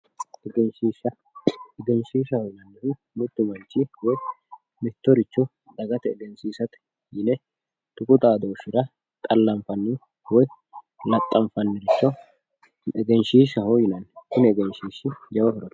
egenshiishsha egenshiishaho yinannihu mittu manchi mittoricho dagate egensiisate yine tuqu xaadooshshira xallanfanniho woyi laxxanfanniricho egenshiishshaho yinanni kuni egenshiishshi jawa horo afirino.